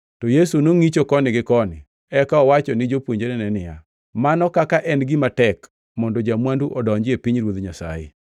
To Yesu nongʼicho koni gi koni, eka owacho ni jopuonjrene niya, “Mano kaka en gima tek mondo ja-mwandu odonji e pinyruoth Nyasaye!”